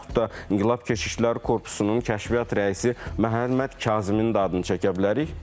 Və yaxut da İnqilab Keşikçiləri Korpusunun Kəşfiyyat rəisi Məhəmməd Kazımın da adını çəkə bilərik.